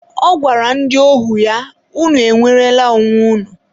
ọ gwara ndị ohu ya, 'unu enwerela onwe unu'